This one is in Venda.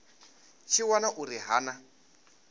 tshi wana uri ha na